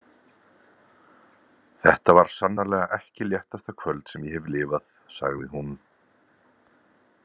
Þetta var sannarlega ekki léttasta kvöld sem ég hef lifað, sagði hún.